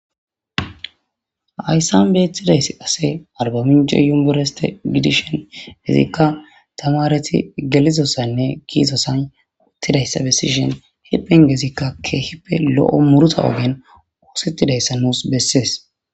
Ayssan beetidayss qase arbaminco yumbereste gidishen hezikka tamareti gelizossaynne giizosan uttidayssa bessishen hipen gezikka keehippe lo7o muruta ogen oosettidayssa nuus bessees